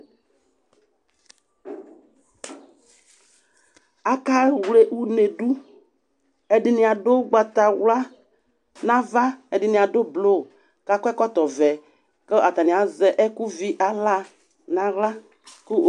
Akewle une dʋ, ɛdini adʋ ʋgbatawla n'ava, ɛdini adʋ blʋ k'akɔ ɔkɔtɔ vɛ, kʋ atani azɛ ɛkʋ vi ala ŋ'aɣla kʋ